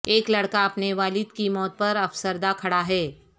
ایک لڑکا اپنے والد کی موت پر افسردہ کھڑا ہے